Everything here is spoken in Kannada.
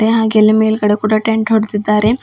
ಹಾಗೆ ಅಲ್ಲಿ ಮೇಲ್ಗಡೆ ಕೂಡ ಟೆಂಟ್ ಹೊಡ್ದಿದ್ದಾರೆ.